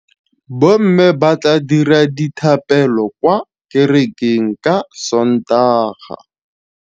Bommê ba tla dira dithapêlô kwa kerekeng ka Sontaga.